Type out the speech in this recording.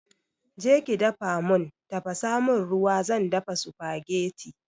Je ki dafa mun tafasa mun ruwa zan dafa supagetti